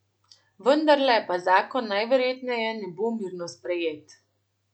Vendarle pa zakon najverjetneje ne bo mirno sprejet.